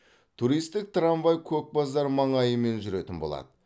туристік трамвай көкбазар маңайымен жүретін болады